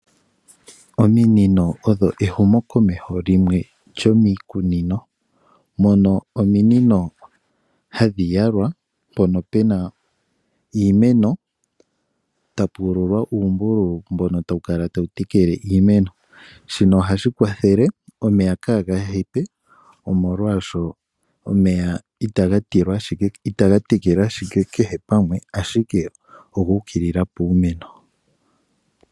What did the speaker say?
Ominino odho ehumo komeho limwe lyomiikunino, mono ominino hadhi yalwa mpono pena iimeno ta pu uululwa uumbululu mbono ta wu kala tawu tekele iimeno. Shino oha shi kwathele omeya ka ga hepe, omolwashoka omeya ita ga tekele kehe pamwe, ashike oguu kilila puumeno.